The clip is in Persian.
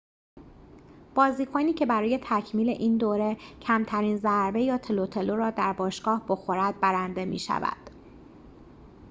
بازیکنی که برای تکمیل این دوره کمترین ضربه یا تلوتلو را در باشگاه بخورد برنده می شود